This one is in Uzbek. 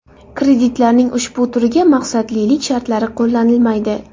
Kreditlarning ushbu turiga maqsadlilik shartlari qo‘llanilmaydi.